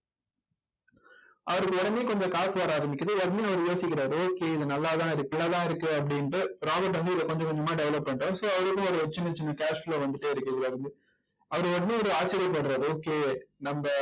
அவருக்கு உடனே கொஞ்சம் காசு வர ஆரம்பிக்குது. உடனே அவர் யோசிக்கிறாரு okay இது நல்லாதான் இருக்கு. நல்லாதான் இருக்கு அப்படின்னுட்டு வந்து இதை கொஞ்சம் கொஞ்சமா develop பண்றார் so அவருக்கும் ஒரு சின்ன சின்ன cashflow ஆ வந்துட்டே இருக்கு இதில இருந்து அவர் உடனே அவர் ஆச்சரியப்படுறார் okay நம்ம